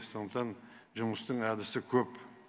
сондықтан жұмыстың әдісі көп